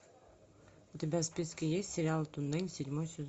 у тебя в списке есть сериал туннель седьмой сезон